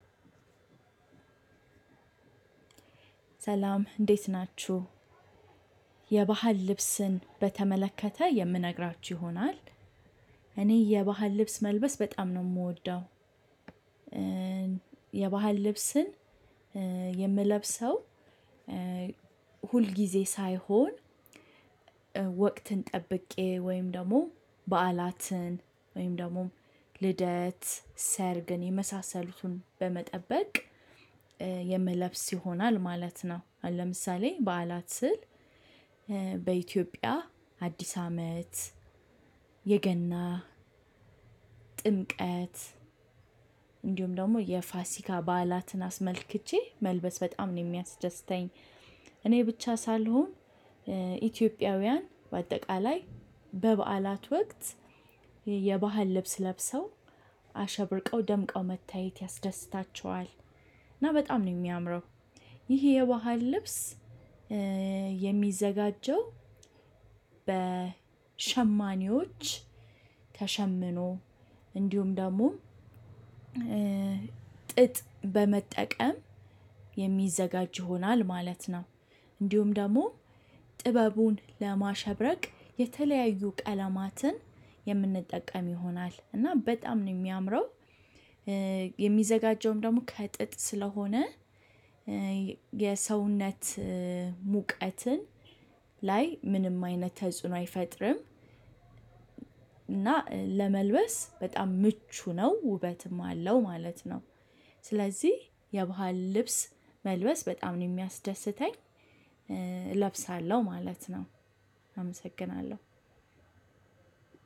ሰላም እንዴት ናችሁ። የባህል ልብስን በተመለከተ የምነግራችሁ ይሆናል። እኔ የባህል ልብስ መልበስ በጣም ነው የምወደው። የባህል ልብስን የምለብሰው ሁልጊዜ ሳይሆን ወቅትን ጠብቄ ወይም ደግሞ በዓላትን ወይም ደግሞ ልደት ሰርግን የመሳሰሉትን በመጠበቅ የምለብስ ይሆናል ማለት ነው። ለምሳሌ በዓላት ስል በኢትዮጵያ አዲስ አመት የገና ጥምቀት እንዲሁም ደግሞ የፋሲካ በዓላትን አስመልክቸ መልበስ በጣም ነው የሚያስደስተኝ። እኔ ብቻ ሳልሆን ኢትዮጵያውያን በአጠቃላይ በበዓላት ወቅት የባህል ልብስ ለብሰው አሸብርቀው ደምቀው መታየት ያስደስታቸዋል። እና በጣም ነው የሚያምረው። ይህ የባህል ልብስ የሚዘጋጀው በሸማኔዎች ተሸምኖ እንዲሁም ደግሞ ጥጥ በመጠቀም የሚዘጋጅ ይሆናል ማለት ነው። እንዲሁም ደግሞ ጥበቡን ለማሸብረቅ የተለያዩ ቀለማትን የምንጠቀም ይሆናል እና በጣም ነው የሚያምነው። የሚዘጋጀውም ደግሞ ከጥጥ ስለሆነ የሰውነት ሙቀትን ላይ ምንም አይነት ተጽዕኖ አይፈጥርም። እና ለመልበስ በጣም ምቹ ነው ውበትም አለው ማለት ነው። ስለዚህ የባህል ልብስ መልበስ በጣም ነው የሚያስደስተኝ። እለብሳለሁ ማለት ነው። አመሰግናለሁ።